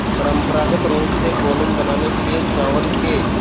परम्परागत रूप से कोलम बनाने के लिए चावल के